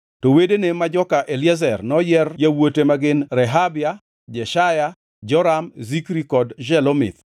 To wedene ma joka Eliezer noyier yawuote ma gin Rehabia, Jeshaya, Joram, Zikri kod Shelomith.